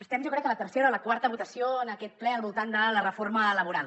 estem jo crec que a la tercera o la quarta votació en aquest ple al voltant de la reforma laboral